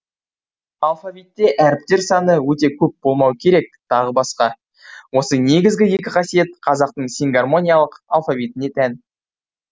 алфавитте әріптер саны өте көп болмау керек тағы басқа осы негізгі екі қасиет қазақтың сингармониялық алфавитіне тән